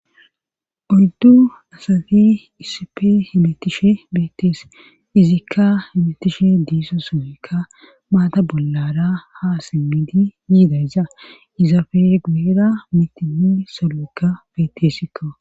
Oyddu asati issippe hamutishe beetees. izikka hemetishin diza sohoykka mata bollara ha simidi yidayssa izappe guyera mithtaynne saloykka beeteskko.